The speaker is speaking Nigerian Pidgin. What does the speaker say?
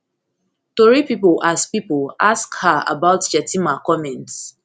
tori pipo ask pipo ask her about shettima comments